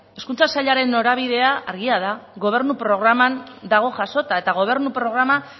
hezkuntza sailaren norabidea argia da gobernu programan dago jasota eta gobernu programa